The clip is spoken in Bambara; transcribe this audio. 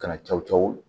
Kana cow cawo